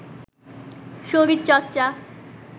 শরীর চর্চা